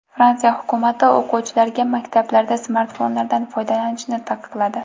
Fransiya hukumati o‘quvchilarga maktablarda smartfonlardan foydalanishni taqiqladi.